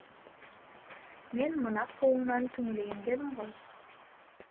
мен мына қуыңнан түңілейін дедім ғой